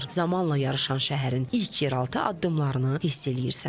Zamanla yarışan şəhərin ilk yeraltı addımlarını hiss eləyirsən.